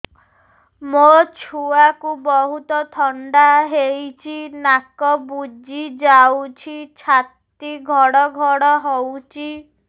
ମୋ ଛୁଆକୁ ବହୁତ ଥଣ୍ଡା ହେଇଚି ନାକ ବୁଜି ଯାଉଛି ଛାତି ଘଡ ଘଡ ହଉଚି